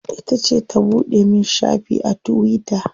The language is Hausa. Ita ce ta buɗe min shafi a tuwita.